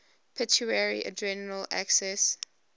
pituitary adrenal axis